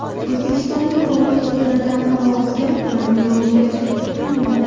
O‘zbekistonning tog‘li hududlarida havo o‘zgarib turadi, yog‘ingarchilik kutilmaydi.